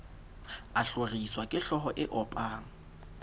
a hloriswa kehlooho e opang